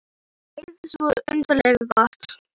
Og um leið svo undarlega gott.